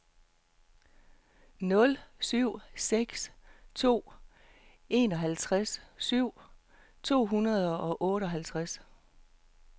nul syv seks to enoghalvtreds syv hundrede og otteoghalvtreds